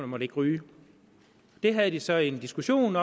måtte ryge de havde så en diskussion